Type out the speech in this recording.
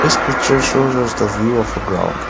picture shows as the view of a ground.